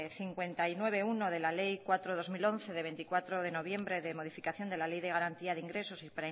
cincuenta y nueve punto uno de la ley cuatro barra dos mil once de veinticuatro de noviembre de modificación de la ley de garantía de ingresos y